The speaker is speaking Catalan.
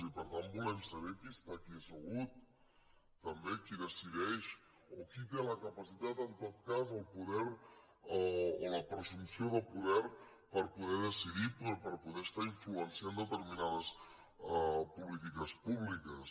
i per tant volem saber qui està aquí assegut també qui decideix o qui té la capacitat en tot cas el poder o la presumpció de poder per poder decidir per poder estar influenciant determinades polítiques públiques